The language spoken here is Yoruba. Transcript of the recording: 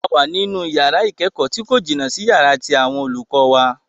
A wà ní inú yàrá ìkẹ́kọ̀ọ́ tí kò jìnà sí yàrá tí àwọn olùkọ́ wà.